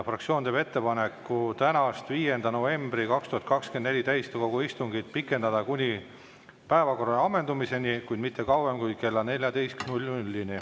Fraktsioon teeb ettepaneku tänast, 5. novembri 2024 täiskogu istungit pikendada kuni päevakorra ammendumiseni, kuid mitte kauem kui kella 14‑ni.